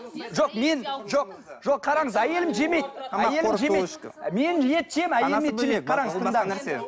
жоқ мен жоқ жоқ қараңыз әйелім жемейді әйелім жемейді мен ет жеймін әйелім ет жемейді қараңыз